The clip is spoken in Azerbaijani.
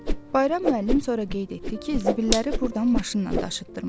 Bayram müəllim sonra qeyd etdi ki, zibilləri burdan maşınla daşıtdırmışam.